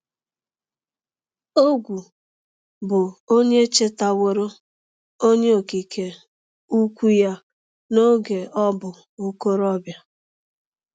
Ogwu, bụ onye chetaworo Onye Okike Ukwu ya n’oge ọ bụ okorobịa.